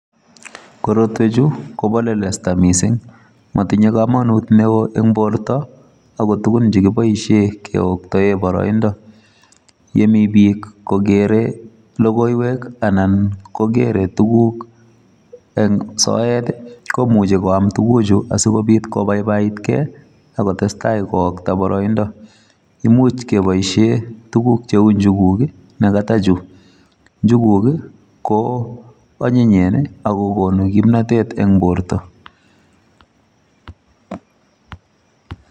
Korotwek chu, kobo lelesta missing. Matinye komonut neo eng' borto, ago tugun chekiboisie keoktae boroindo. Yemi biik kogere logoiywek anan kogere tuguk eng' soet, komuchi koam tuguk chu asikobit kobaibaitkey, akotestai kookta boroindo. Imuch keboisie tuguk cheu njuguk, ne katachu. Njuguk ko anyinyen, akogonu kimnatet eng' borto